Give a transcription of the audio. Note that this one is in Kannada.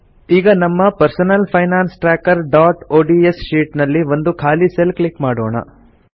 ಈಗ ನಮ್ಮ ಪರ್ಸನಲ್ ಫೈನಾನ್ಸ್ trackerಒಡಿಎಸ್ ಶೀಟ್ ನಲ್ಲಿ ಒಂದು ಖಾಲಿ ಸೆಲ್ ಕ್ಲಿಕ್ ಮಾಡೋಣ